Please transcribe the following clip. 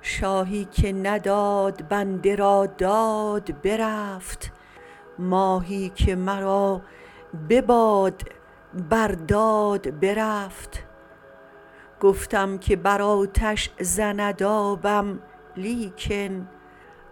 شاهی که نداد بنده را داد برفت ماهی که مرا بباد برداد برفت گفتم که بر آتش زند آبم لیکن